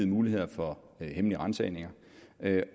muligheder for hemmelige ransagninger